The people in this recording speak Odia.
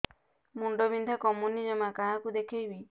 ମୁଣ୍ଡ ବିନ୍ଧା କମୁନି ଜମା କାହାକୁ ଦେଖେଇବି